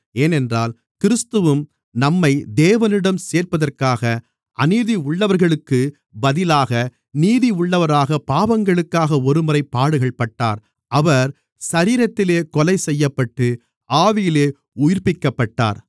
ஏனென்றால் கிறிஸ்துவும் நம்மை தேவனிடம் சேர்ப்பதற்காக அநீதியுள்ளவர்களுக்குப் பதிலாக நீதி உள்ளவராகப் பாவங்களுக்காக ஒருமுறை பாடுகள் பட்டார் அவர் சரீரத்திலே கொலை செய்யப்பட்டு ஆவியிலே உயிர்ப்பிக்கப்பட்டார்